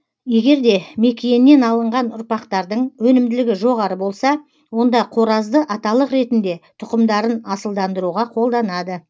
егерде мекиеннен алынған ұрпақтардың өнімділігі жоғары болса онда қоразды аталық ретінде тұқымдарын асылдандыруға қолданады